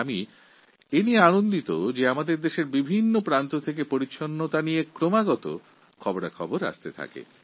আমি খুবই আনন্দিত যে দেশকে পরিষ্কারপরিচ্ছন্ন রাখার খবর আমি নিয়মিত ভাবে পাচ্ছি